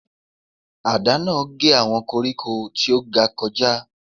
Àdá náà gé àwọn koríko tí ó ga kọjá.